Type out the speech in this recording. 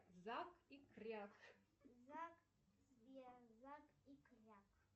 зак и кряк